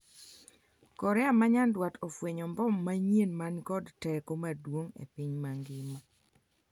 Korea ma nyandwat ofwenyo mbom manyien mani kod teko maduong' e piny mangima